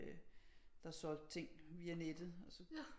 Øh der solgte ting via nettet og så